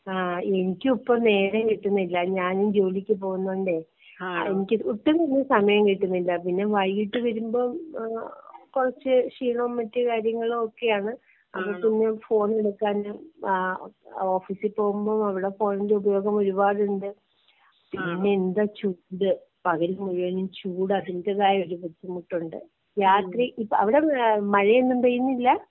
ആ എനിക്കും ഇപ്പൊ നേരെ കിട്ടുന്നില്ല ഞാനും ജോലിക്ക് പോകുന്നതുകൊണ്ടെയ് എനിക്ക് ഒട്ടും തന്നെ സമയം കിട്ടുന്നില്ല.പിന്നെ വൈകീട്ട് വരുമ്പോ കൊർച് ക്ഷീണോം മറ്റു കാര്യങ്ങളും ഒക്കെ ആണ്. അപ്പൊ പിന്നെ ഫോൺ എടുക്കാൻ ഏഹ് ഓഫിസിൽ പോകുമ്പോ അവിടെ ഫോണിന്റെ ഉപയോഗം ഒരുപാട് ഉണ്ട്.പിന്നെ എന്താ ചൂട് പകൽ മുഴുവൻ ചൂട് അതിന്റെതായ ഒരു ബുദ്ധിമുട്ടുണ്ട് രാത്രി ഇപ്പോ അവിടെ മഴയൊന്നും പെയ്യുന്നില്ല?